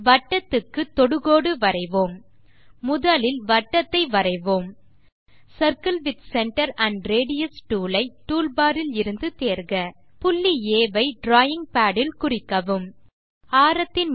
வட்டத்துக்கு தொடுகோடு வரைவோம் முதலில் வட்டத்தை வரைவோம் circle with centre and radius tool ஐ டூல்பார் இலிருந்து தேர்க புள்ளி ஆ ஐ டிராவிங் பாட் இல் குறிக்கவும் டயலாக் பாக்ஸ் திறக்கிறது